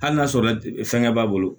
Hali n'a sɔrɔ fɛngɛ b'a bolo